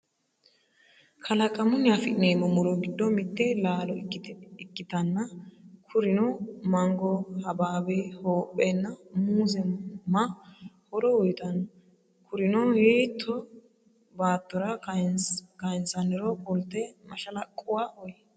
Kalaqamunni afi'neemmo muro giddo mitte laalo ikkitanna kurino mango, hababe, hoophe nna muuze ma horo uyitanno? Kurino hiitto baattora kayinsanniro kulte mashalaqquwa uyi?